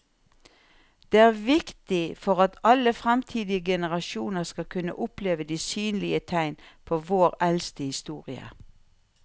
Det er viktig for at alle fremtidige generasjoner skal kunne oppleve de synlige tegn på vår eldste historie.